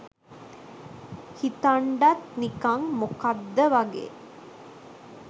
හිතන්ඩත් නිකං මොකද්ද වගේ.